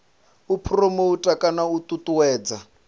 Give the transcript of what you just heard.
u phuromotha kana u ṱuṱuwedza